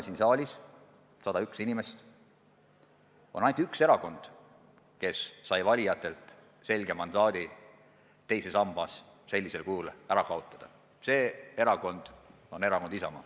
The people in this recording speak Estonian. Siin saalis on 101 inimest, aga ainult üks erakond, kes sai valijatelt selge mandaadi teine sammas sellisel kujul ära kaotada: see erakond on Erakond Isamaa.